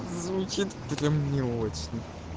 звучит не очень